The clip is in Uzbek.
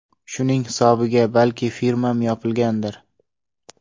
Shuning hisobiga balki firmam yopilgandir”.